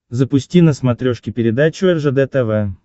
запусти на смотрешке передачу ржд тв